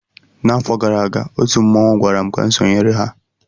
N'afọ gara aga, otu mmanwụ gwara m ka m sonyere ha